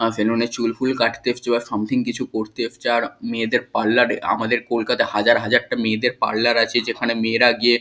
salon এ চুল ফুল কাটতে এসেছে ওরা সামথিং কিছু করতে এসেছে আর মেয়েদের পার্লার এ আমাদের কলকাতায় হাজার হাজারটা মেয়েদের পার্লার আছে যেখানে মেয়েরা গিয়ে--